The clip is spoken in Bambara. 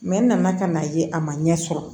n nana ka n'a ye a ma ɲɛ sɔrɔ